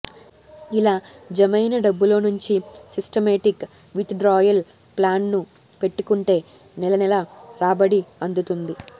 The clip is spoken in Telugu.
ఇలా జమైన డబ్బులో నుంచి సిస్టమేటిక్ విత్డ్రాయల్ ప్లాన్ను పెట్టుకుంటే నెలనెలా రాబడి అందుతుంది